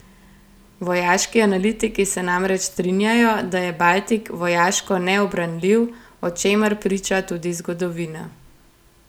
Vojaški analitiki se namreč strinjajo, da je Baltik vojaško neubranljiv, o čemer priča tudi zgodovina.